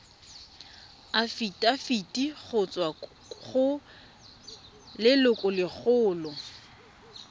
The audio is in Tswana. afitafiti go tswa go lelokolegolo